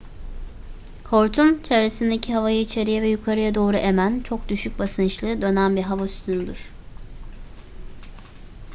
hortum çevresindeki havayı içeriye ve yukarıya doğru emen çok düşük basınçlı dönen bir hava sütunudur